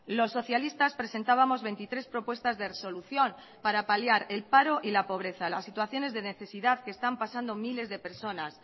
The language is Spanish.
los socialistas presentábamos veintitrés propuestas de resolución para paliar el paro y la pobreza las situaciones de necesidad que están pasando miles de personas